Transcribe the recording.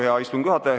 Hea istungi juhataja!